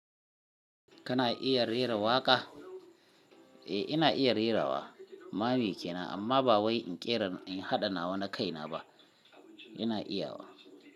Kana iya rera waƙa? Eh ina iya rerawa. Mame kenan amma ba wai in ƙera in haɗa nawa na kaina ba. Ina iya wa.